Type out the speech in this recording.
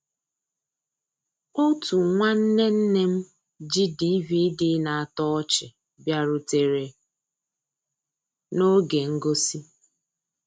Ótú nnwànné nné m jì DVD ná-àtọ́ ọ́chị́ bìàrùtérè n'ògé ngósì.